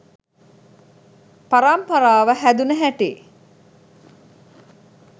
පරම්පාරාව හැදුන හැටි?